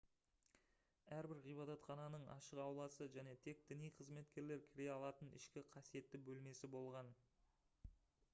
әрбір ғибадатхананың ашық ауласы және тек діни қызметкерлер кіре алатын ішкі қасиетті бөлмесі болған